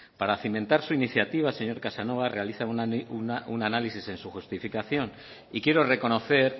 para cimentar su iniciativa señor casanova realiza una análisis en su justificación y quiero reconocer